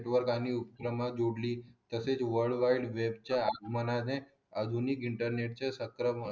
युवकांनी संकल्पना जोडली वर्ल्ड वाईड च्या मनाने आधुनिक चे सत्र